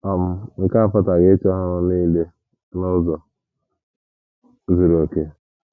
um Nke a apụtaghị ịchọ ịrụ ọrụ nile n’ụzọ zuru okè.